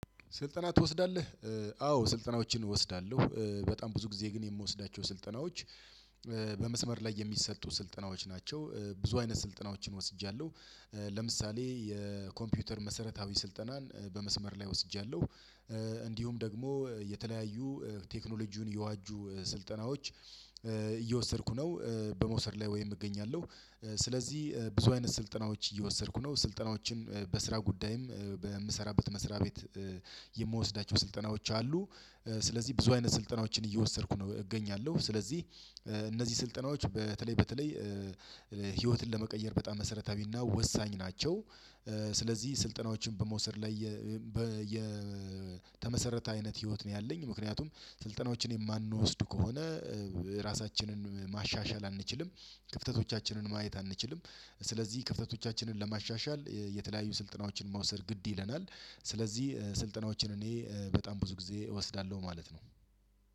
ስልጠና ትወስዳለህ? አዎ ስልጠናዎችን እወስዳለሁ በጣም ብዙ ጊዜ ግን የምወስዳቸው ስልጠናዎች። በመስመር ላይ የሚሰጡ ስልጠናዎች ናቸው። ብዙ አይነት ስልጠናዎችን ወስጃለሁ። ለምሳሌ የኮምፒውተር መሰረታዊ ስልጠናን በመስመር ላይ ወስጃለሁ። እንዲሁም ደግሞ የተለያዩ ቴክኖሎጂውን የዋጁ ስልጠናዎች እየወሰድኩ ነው። በመውሰድ ላይ ወይም እገኛለሁ። ስለዚህ ብዙ አይነት ስልጠናዎች እየወሰድኩ ነው ስልጠናዎችን በስራ ጉዳይም በምሰራበት መስሪያ ቤት። የምወስዳቸው ስልጠናዎች አሉ። ስለዚህ ብዙ አይነት ስልጠናዎችን እየወሰድኩ ነው እገኛለሁ። ስለዚህ እነዚህ ስልጠናዎች በተለይ በተለይ ህይወትን ለመቀየር በጣም መሰረታዊና ወሳኝ ናቸው። ስለዚህ ስልጠናዎችን በመውሰድ ላይ የተመሰረተ አይነት ህይወት ነው ያለኝ። ምክንያቱም ስልጠናዎችን የማንወስድ ከሆነ ራሳችንን ማሻሻል አንችልም ክፍተቶቻችንን ማየት አንችልም። ስለዚህ ክፍተቶቻችንን ለማሻሻል የተለያዩ ስልጠናዎችን መውሰድ ግድ ይለናል። ስለዚህ ስልጠናዎችን እኔ በጣም ብዙ ጊዜ እወስዳለሁ ማለት ነው።